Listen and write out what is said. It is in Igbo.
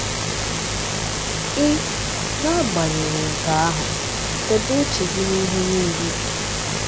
Ị, n’agbanyeghị nke ahụ, debe uche gị n’ihe niile.